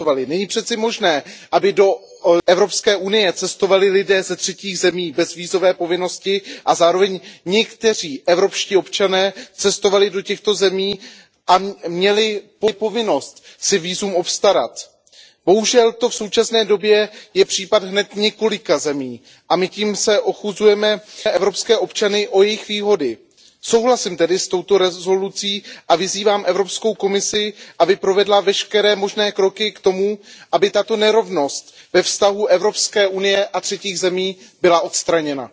Není přece možné, aby do Evropské unie cestovali lidé ze třetích zemí bez vízové povinnosti a zároveň někteří evropští občané cestovali do těchto zemí a měli povinnost si vízum obstarat. Bohužel to v současné době je případ hned několika zemí a my tím ochuzujeme evropské občany o jejich výhody. Souhlasím tedy s touto rezolucí a vyzývám Evropskou komisi, aby provedla veškeré možné kroky k tomu, aby tato nerovnost ve vztahu Evropské unie a třetích zemí byla odstraněna.